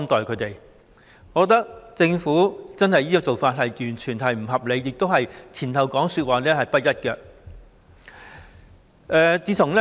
我認為，政府這種做法毫不合理，說法也是前後不一致的。